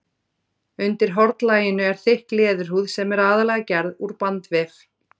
Undir hornlaginu er þykk leðurhúð sem er aðallega gerð úr bandvef.